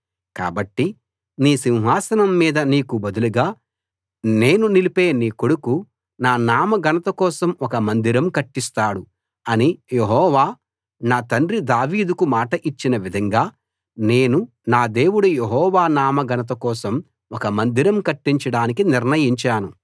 కాబట్టి నీ సింహాసనం మీద నీకు బదులుగా నేను నిలిపే నీ కొడుకు నా నామ ఘనత కోసం ఒక మందిరం కట్టిస్తాడు అని యెహోవా నా తండ్రి దావీదుకు మాట ఇచ్చిన విధంగా నేను నా దేవుడు యెహోవా నామ ఘనత కోసం ఒక మందిరం కట్టించడానికి నిర్ణయించాను